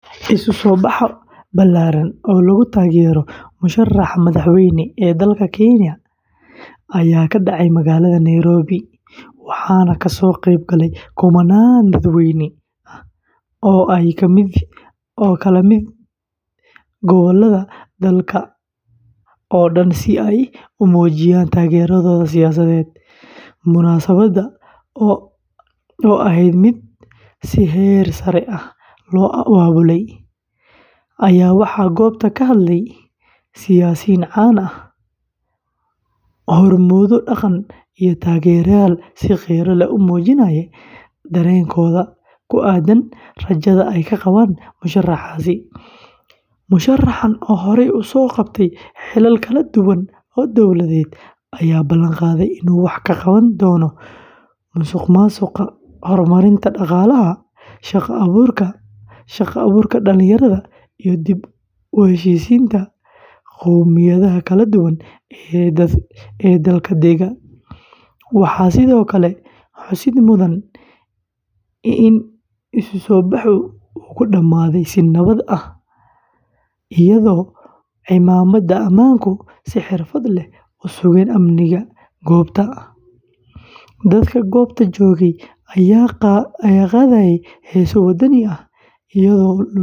Isu soo bax ballaaran oo lagu taageerayo musharraxa madaxweyne ee dalka Kenya ayaa ka dhacay magaalada Nairobi, waxaana ka soo qayb galay kumannaan dadweyne ah oo ka kala yimid gobollada dalka oo dhan si ay u muujiyaan taageeradooda siyaasadeed. Munaasabadda oo ahayd mid si heer sare ah loo abaabulay, ayaa waxaa goobta ka hadlay siyaasiyiin caan ah, hormuudyo dhaqan iyo taageerayaal si qiiro leh u muujinayay dareenkooda ku aaddan rajada ay ka qabaan musharraxaasi. Musharraxan oo horey u soo qabtay xilal kala duwan oo dawladeed, ayaa ballanqaaday inuu wax ka qaban doono musuqmaasuqa, horumarinta dhaqaalaha, shaqo-abuurka dhalinyarada iyo dib u heshiisiinta qowmiyadaha kala duwan ee dalka dega. Waxaa sidoo kale xusid mudan in isu soo baxu uu ku dhammaaday si nabad ah, iyadoo ciidamada ammaanku si xirfad leh u sugeen amniga goobta. Dadka goobta joogay ayaa qaadayay heeso wadaninimo ah, iyagoo lulaya calanka.